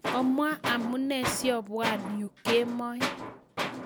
Omwa amune siobwa yu kemoi